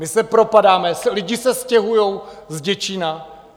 My se propadáme, lidi se stěhují z Děčína.